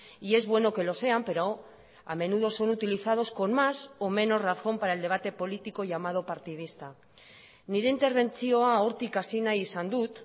y es bueno que lo sean pero a menudo son utilizados con más o menos razón para el debate político llamado partidista nire interbentzioa hortik hasi nahi izan dut